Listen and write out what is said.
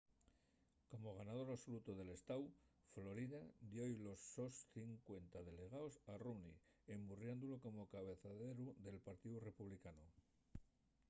como ganador absolutu del estáu florida dio-y los sos cincuenta delegaos a romney emburriándolu como cabezaleru del partíu republicanu